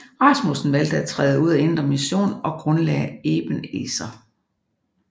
Rasmussen valgte at træde ud af Indre Mission og grundlagde Eben Ezer